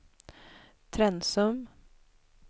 Trensum